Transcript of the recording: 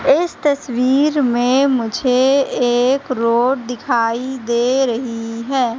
इस तस्वीर में मुझे एक रोड दिखाई दे रही है।